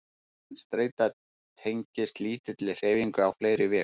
En streita tengist lítilli hreyfingu á fleiri vegu.